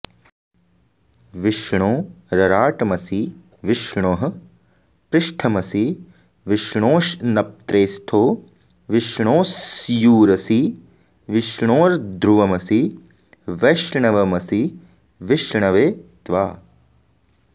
विष्णो रराटमसि विष्णोः पृष्ठमसि विष्णोश्श्नप्त्रेस्थो विष्णोस्स्यूरसि विष्णोर्ध्रुवमसि वैष्णवमसि विष्णवे त्वा